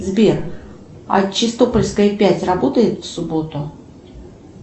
сбер а чистопольская пять работает в субботу